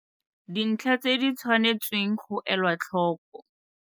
Dintlha tse di tshwanetsweng go elwa tlhoko.